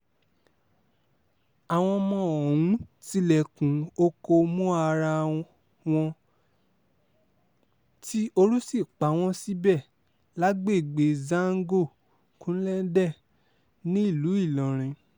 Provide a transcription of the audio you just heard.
àwọn ọmọ ọ̀hún tilẹ̀kùn oko mọ ara wọn tí ooru sì pa wọ́n síbẹ̀ lágbègbè zàngó kulenden nílùú ìlọrin